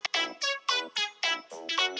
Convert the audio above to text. Sighvatur: Hvað finnst þér að þeir eig að gera?